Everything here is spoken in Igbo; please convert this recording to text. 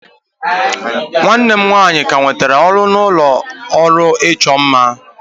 nwanne m nwanyị ka nwetara ọrụ na ụlọ ọrụ ịchọ mma